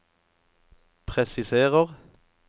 presiserer